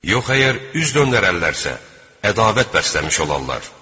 Yox əgər üz döndərərlərsə, ədavət bəsləmiş olarlar.